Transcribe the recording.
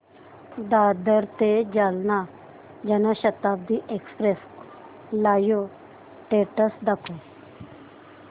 दादर ते Jalna Janshatabdi express live status दाखव